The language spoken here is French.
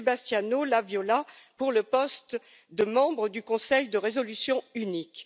Sebastiano Laviola pour le poste de membre du conseil de résolution unique.